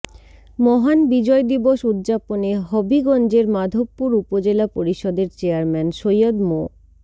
মহান বিজয় দিবস উদযাপনে হবিগঞ্জের মাধবপুর উপজেলা পরিষদের চেয়ারম্যান সৈয়দ মো